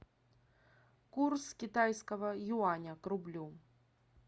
курс китайского юаня к рублю